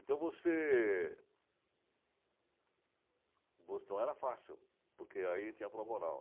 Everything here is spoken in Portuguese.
Então você... Então era fácil, porque aí tinha prova oral.